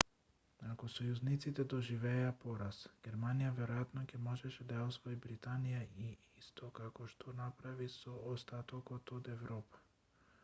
ако сојузниците доживееја пораз германија веројатно ќе можеше да ја освои британија исто како што направи со остатокот од европа